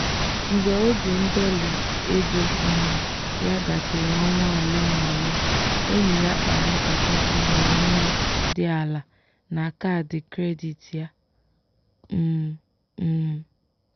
“mgbe oge ndọli ego um ya gasịrị ọnwa ole na ole enyi ya kpara nkata ọmụrụ nwa dị ala na kaadị kredit ya.” um um